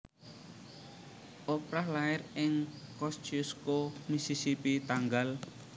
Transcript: Oprah lair ing Kosciusko Mississippi tanggal